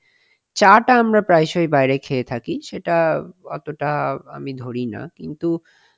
চা টা আমরা প্রায়শই বাইরে খেয়ে থাকি সেটা অতো টা আমি ধরি না কিন্তু,